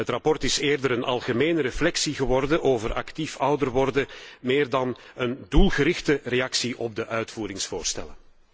Het verslag is eerder een algemene reflectie geworden over actief ouder worden, meer dan een doelgerichte reactie op de uitvoeringsvoorstellen.